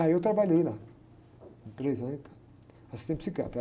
Aí eu trabalhei lá, três anos, e tal, assistente psiquiátrico.